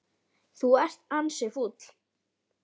Þú ert ansi fúll.